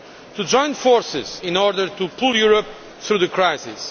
to join forces in order to pull Europe through the crisis.